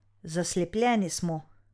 Zaslepljeni smo.